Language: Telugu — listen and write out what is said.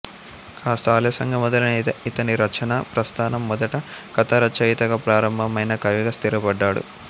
కాస్త ఆలస్యంగా మొదలైన ఇతని రచనా ప్రస్థానం మొదట కథారచయితగా ప్రారంభమైనా కవిగా స్థిరపడ్డాడు